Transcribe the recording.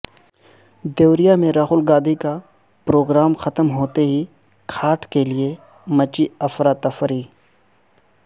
دیوریا میں راہل گاندھی کا پروگرام ختم ہوتے ہی کھاٹ کیلئے مچی افراتفری